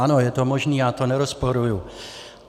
Ano, je to možné, já to nerozporuji.